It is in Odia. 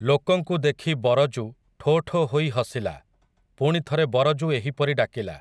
ଲୋକଙ୍କୁ ଦେଖି ବରଜୁ ଠୋ ଠୋ ହୋଇ ହସିଲା, ପୁଣି ଥରେ ବରଜୁ ଏହିପରି ଡାକିଲା ।